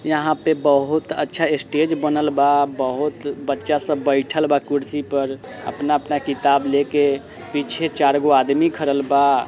यहां पे बहुत अच्छा स्टेज बनल बा बहुत बच्चा सब बैठएल बा कुर्सी पर अपना-अपना किताब लेके पीछे चारगो आदमी खरल बा।